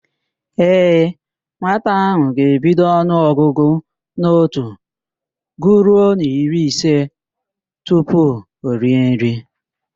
Ee, nwata ahụ ga-ebido ọnụọgụgụ n'otu guruo n'iri ise tupu o rie nri.